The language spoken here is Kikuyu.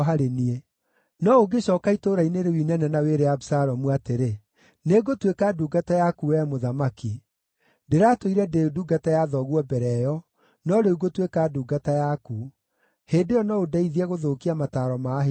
No ũngĩcooka itũũra-inĩ rĩu inene na wĩre Abisalomu atĩrĩ, ‘Nĩngũtuĩka ndungata yaku wee mũthamaki; ndĩratũire ndĩ ndungata ya thoguo mbere ĩyo, no rĩu ngũtuĩka ndungata yaku,’ hĩndĩ ĩyo no ũndeithie gũthũkia mataaro ma Ahithofeli.